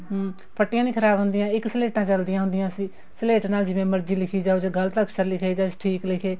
ਹਮ ਫੱਟੀਆਂ ਨੀ ਖਰਾਬ ਹੁੰਦੀਆਂ ਇੱਕ ਸਲੇਟਾਂ ਚੱਲਦੀਆਂ ਹੁੰਦੀਆਂ ਸੀ ਸਲੇਟ ਤੇ ਜਿਵੇਂ ਮਰਜ਼ੀ ਲਿਖੀ ਜਾਓ ਜੇ ਗਲਤ ਅਖਸ਼ਰ ਲਿਖੇ ਗਏ ਠੀਕ ਲਿਖੇ